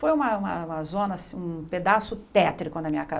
Foi uma uma uma zona assim, um pedaço tétrico na minha